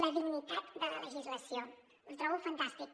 la dignitat de la legislació ho trobo fantàstic